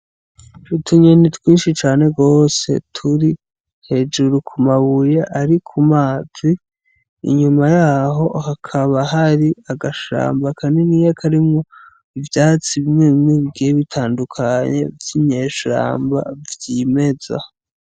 Utunyoni twinshi cane gose turi hejuru kumabuye ari ku mazi inyuma yaho hakaba hari agashamba kanini karimwo ivyatsi bimwe bimwe bitandukanye vy'inyeshamba vy'imeza.